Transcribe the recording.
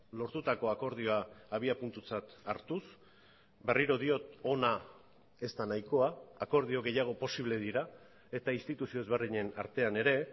lortutako akordioa abiapuntutzat hartuz berriro diot ona ez da nahikoa akordio gehiago posible dira eta instituzio ezberdinen artean ere